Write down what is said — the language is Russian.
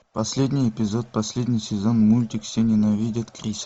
последний эпизод последний сезон мультик все ненавидят криса